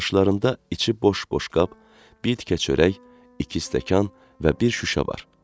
Qarşılarında içi boş-boş qab, bir tikə çörək, iki stəkan və bir şüşə var.